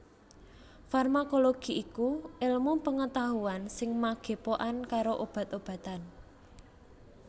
Farmakologi iku èlmu pengetahuan sing magepokan karo obat obatan